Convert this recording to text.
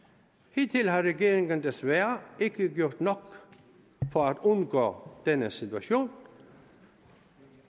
hidtil har regeringen desværre ikke gjort nok for at undgå denne situation